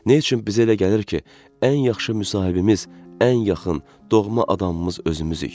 Nə üçün bizə elə gəlir ki, ən yaxşı müsahibimiz ən yaxın doğma adamımız özümüzük?